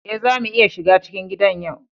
Eh, za mu iya shiga cikin gidan yau.